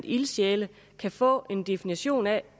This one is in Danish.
ildsjæle kan få en definition af